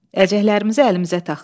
Əlcəklərimizi əlimizə taxdıq.